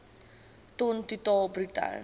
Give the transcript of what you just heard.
ton totaal bruto